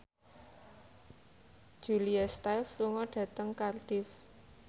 Julia Stiles lunga dhateng Cardiff